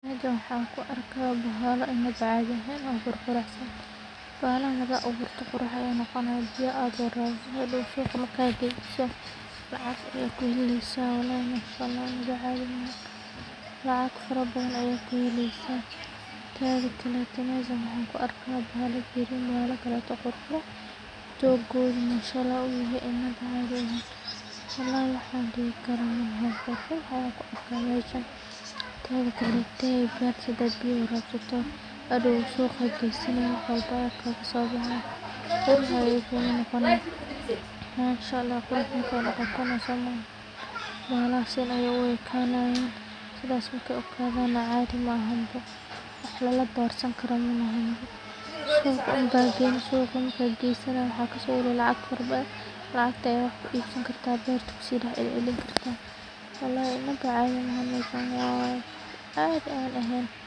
ka qayb qaadashada bandiga bulshada waxay ledahay faidoyin badan oo dadka marka dadka si wadajir oga qey qataan wacyiga marka labaad ka qayb qaadashada hawshan waxay sare u qaadaysaa wacyiga dhalinyarada oo inta badan ah qaybta ugu nugul ee halista cudurkan iyagoo mararka qaar aan helin xog ku filan waxayna wacyigelintu horseedaa in ay helaan macluumaad sax ah sida isticmaalka kondhomka, tijaabada joogtada ah, iyo in laga fogaado xiriirada halista ah dhinaca kale ka qayb qaadashada wacyigelinta aids waxay sidoo kale meesha ka saartaa cabsida iyo ceebta la xiriirta dadka cudurkan qaba taasoo bulshada u ogolaanaysa in si caadi ah loola dhaqmo dadka qaba islamarkaana ay helaan daryeel caafimaad oo tayo leh iyadoo aan la takoorin sidoo kale sawiradu waxay door weyn ka ciyaaraan xusuusinta bulshada maxaa yeelay muuqaalka wax lagu wacyigeliyo wuxuu si toos ah u taabanayaa dareenka qofka taasoo ka sahlan farriinta qoraalka kaliya dadka badankood waxay si fudud u xasuustaan sawir laga wacyigeliyay cudur halkii ay ka xasuusan lahaayeen erayo badan ugu dambayn ka qayb qaadashada hawshan waxay adkeyneysaa dareenka masuuliyadda qof walba uu ka leeyahay caafimaadka naftiisa iyo bulshada uu ku nool yahay waxay horseedaysaa jiil caafimaad qaba, bulsho wax og, iyo cudur aan fursad badan u helin inuu si xowli ah ku faafo taasoo guul u ah dhammaan dadka deegaanka ku wada nool